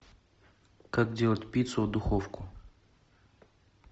как делать пиццу в духовку